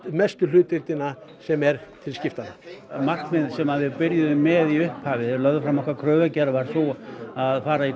mestu hlutdeildina sem er til skiptanna markmiðin sem að við byrjuðum með í upphafi þegar lögðum fram okkar kröfugerð var sú að fara í